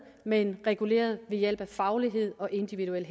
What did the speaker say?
men reguleret ved hjælp af faglighed og individuelle